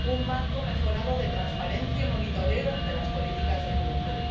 un marco mejorado de transparencia y seguimiento de las políticas de juventud